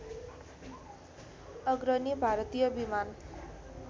अग्रणी भारतीय विमान